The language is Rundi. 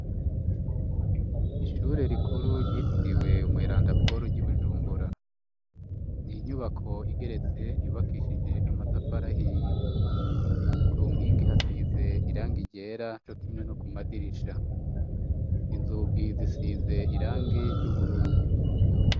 Ishure rikuru ryitiriwe umweranda Paul ry'i Bujumbura ,ni inyubako igeretse yubakishije amatafari ahiye ,ku nkingi hasize irangi ryera cokimwe no ku madirisha , inzugi zisize irangi ry'ubururu.